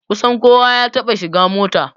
Kusan kowa ya taɓa shiga mota